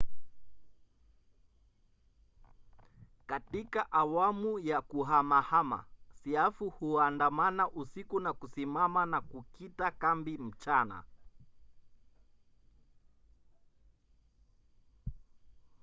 katika awamu ya kuhamahama siafu huandamana usiku na kusimama na kukita kambi mchana